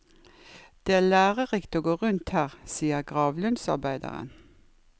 Det er lærerikt å gå rundt her, sier gravlundsarbeideren.